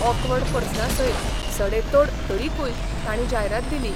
Awkward प्रस्नांसयत सडेतोड तरिकूय तांणी जायरात दिली.